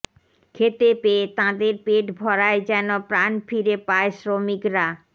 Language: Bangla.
খেতে পেয়ে তাঁদের পেট ভরায় যেন প্রাণ ফিরে পায় শ্রমিকরা